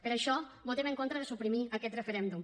per això votem en contra de suprimir aquest referèndum